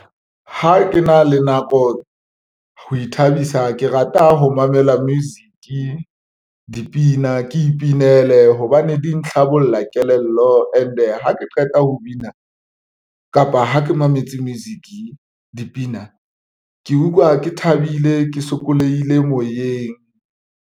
Ha ke na le nako ho ithabisa ke rata ho mamela music dipina, ke ipinele hobane di ntlhabolla kelello and-e ha ke qeta ho bina kapa ha ke mametse music dipina, ke utlwa ke thabile, ke sokolohile moyeng.